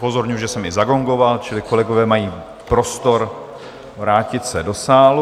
Upozorňuji, že jsem i zagongoval, čili kolegové mají prostor vrátit se do sálu.